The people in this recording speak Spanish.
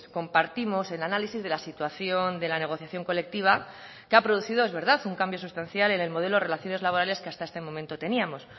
compartimos el análisis de la situación de la negociación colectiva que ha producido es verdad un cambio sustancial en el modelo de relaciones laborales que hasta este momento teníamos